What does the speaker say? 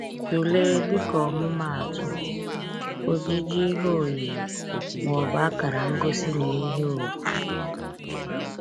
Tụlee, dịka ọmụmaatụ, ojiji ihe oyiyi ma ọ bụ akara ngosi n’ihe ùgwù.